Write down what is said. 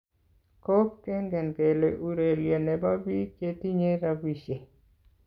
Golf Kengen kele urerie ne bo biik che tinye robishe.